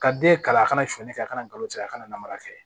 Ka den kalan a kana suɲɛni kɛ a kana to a la a kana na mara kɛ